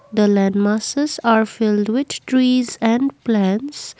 the landmasses are filled which trees and plants.